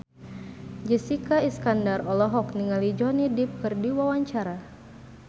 Jessica Iskandar olohok ningali Johnny Depp keur diwawancara